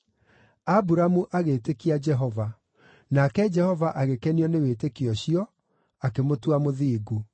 Aburamu agĩĩtĩkia Jehova. Nake Jehova agĩkenio nĩ wĩtĩkio ũcio, akĩmũtua mũthingu.